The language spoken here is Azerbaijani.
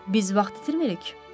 Biz vaxt itirmirik?